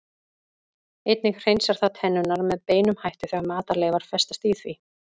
Einnig hreinsar það tennurnar með beinum hætti þegar matarleifar festast í því.